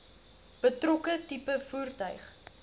betrokke tipe voertuig